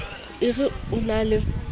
o re o na le